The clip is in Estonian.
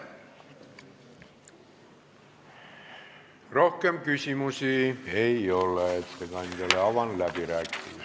Rohkem küsimusi ettekandjale ei ole.